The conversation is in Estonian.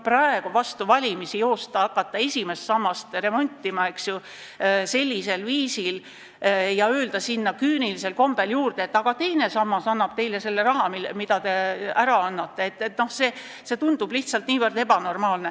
Praegu vastu valimisi hakata esimest sammast joostes remontima ja öelda küünilisel kombel, et teine sammas annab teile selle raha, mille te eelnõu kohaselt ära annate – see tundub lihtsalt ebanormaalne.